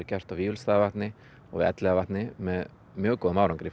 gert á Vífilsstaðavatni og Elliðavatni með mjög góðum árangri